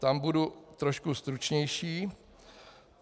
Tam budu trošku stručnější.